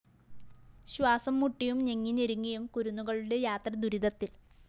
ശ്വാസംമുട്ടിയും ഞെങ്ങി ഞെരുങ്ങിയും കുരുന്നുകളുടെ യാത്ര ദുരിതത്തില്‍